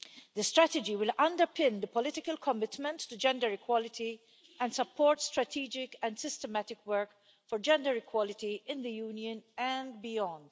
The strategy will underpin the political commitment to gender equality and support strategic and systematic work for gender equality in the Union and beyond.